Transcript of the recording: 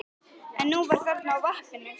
En hún var þarna á vappinu.